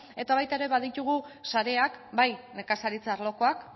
eta baita ere baditugu sareak bai nekazaritza arlokoak